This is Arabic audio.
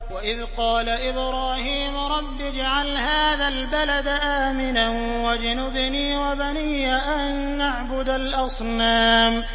وَإِذْ قَالَ إِبْرَاهِيمُ رَبِّ اجْعَلْ هَٰذَا الْبَلَدَ آمِنًا وَاجْنُبْنِي وَبَنِيَّ أَن نَّعْبُدَ الْأَصْنَامَ